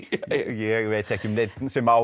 ég veit ekki um neinn sem á